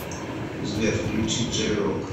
сбер включи джей рок